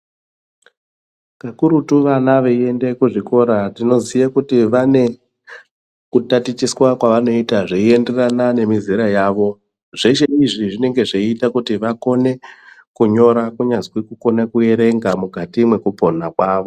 Kakurutu vana veiende kuzvikora tinoziye kuti vane kutatichiswa kwavanoita zveienderana nemizera yavo. Zveshe izvi zvinenge zveiita kuti vakone kunyora kunyazwi kukona kuverenga mukati mwekupona kwavo.